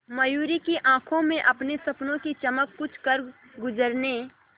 मयूरी की आंखों में अपने सपनों की चमक कुछ करगुजरने